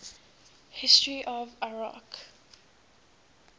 history of iraq